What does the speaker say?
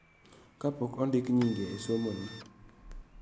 Kapok ondiki nyinge e somoni.